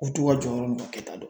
U to ka jɔyɔrɔ n'u ta kɛ ta dɔn